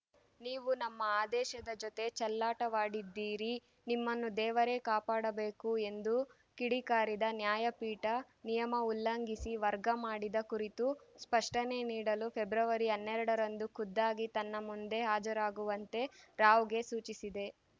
ನೀವು ನಮ್ಮ ಆದೇಶದ ಜೊತೆ ಚೆಲ್ಲಾಟವಾಡಿದ್ದೀರಿ ನಿಮ್ಮನ್ನು ದೇವರೇ ಕಾಪಾಡಬೇಕು ಎಂದು ಕಿಡಿಕಾರಿದ ನ್ಯಾಯಪೀಠ ನಿಯಮ ಉಲ್ಲಂಘಿಸಿ ವರ್ಗ ಮಾಡಿದ ಕುರಿತು ಸ್ಪಷ್ಟನೆ ನೀಡಲು ಫೆಬ್ರವರಿ ಹನ್ನೆರಡರಂದು ಖುದ್ದಾಗಿ ತನ್ನ ಮುಂದೆ ಹಾಜರಾಗುವಂತೆ ರಾವ್‌ಗೆ ಸೂಚಿಸಿದೆ